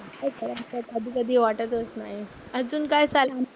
काय करायचं कधी कधी वाटतच नाही. अजून काय